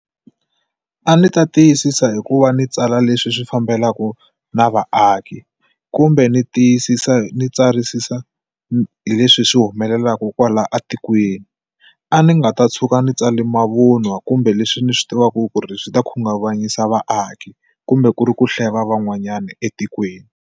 A ndzi ta tiyisisa hi ku va ni tsala leswi swi fambelaku na vaaki kumbe ni tiyisisa ni tsarisisa hi leswi swi humelelaka kwala etikweni a ni nga ta tshuka ni tsale mavun'wa kumbe leswi ni swi tivaka ku ri swi ta khunguvanyisa vaaki kumbe ku ri ku hleva van'wanyana etikweni.